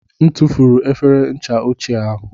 M tụfuru efere ncha ochie ahụ.